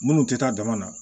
Minnu tɛ taa dama na